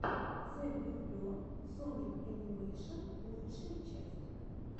зэблюбле соник энимэйшенс лучшая часть